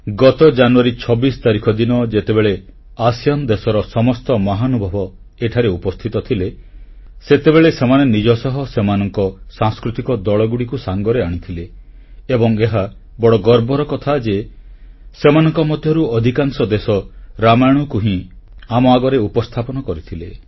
ଗତ ଜାନୁଆରୀ 26 ତାରିଖ ଦିନ ଯେତେବେଳେ ଆସିଆନ୍ ଦେଶର ସମସ୍ତ ମହାନୁଭବ ଏଠାରେ ଉପସ୍ଥିତ ଥିଲେ ସେତେବେଳେ ସେମାନେ ନିଜ ସହ ସେମାନଙ୍କ ସାଂସ୍କୃତିକ ଦଳଗୁଡ଼ିକୁ ସାଙ୍ଗରେ ଆଣିଥିଲେ ଏବଂ ଏହା ବଡ଼ ଗର୍ବର କଥା ଯେ ସେମାନଙ୍କ ମଧ୍ୟରୁ ଅଧିକାଂଶ ଦେଶ ରାମାୟଣକୁ ହିଁ ଆମ ଆଗରେ ଉପସ୍ଥାପନ କରିଥିଲେ